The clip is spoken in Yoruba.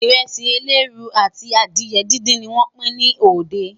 iresi eleruu àti adìe dindin ní wón Pin ní òde